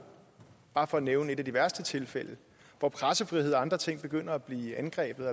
bare for at nævne et af de værste tilfælde hvor pressefrihed og andre ting begynder at blive angrebet